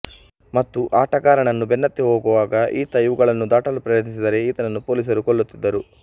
ಮತ್ತು ಆಟಗಾರನನ್ನು ಬೆನ್ನತ್ತಿ ಹೋಗುವಾಗ ಈತ ಇವುಗಳನ್ನು ದಾಟಲು ಪ್ರಯತ್ನಿಸಿದರೆ ಈತನನ್ನು ಪೋಲಿಸರು ಕೊಲ್ಲುತ್ತಿದ್ದರು